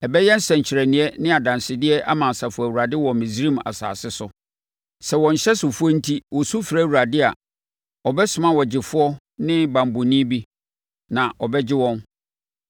Ɛbɛyɛ nsɛnkyerɛnneɛ ne adansedeɛ ama Asafo Awurade wɔ Misraim asase so. Sɛ wɔn nhyɛsofoɔ enti wɔsu frɛ Awurade a, ɔbɛsoma ɔgyefoɔ ne banbɔni bi, na ɔbɛgye wɔn.